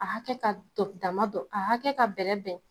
A hakɛ ka dama don ,a hakɛ ka bɛrɛ bɛn.